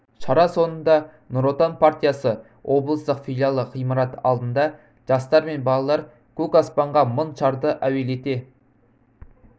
шара соңында нұротан партиясы облыстық филиалы ғимараты алдында жастар мен балалар көк аспанға мың шарды әуелете